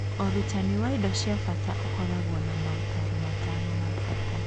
Ũrutani wa indo cia bata ũkoragwo na motaaro matano ma bata.